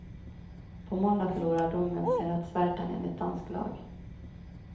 På måndag förlorar domen sin rättsverkan enligt dansk lag.